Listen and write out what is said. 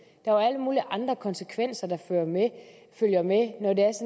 alle mulige andre konsekvenser der følger med